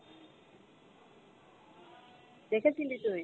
দেখেছিলি তুই?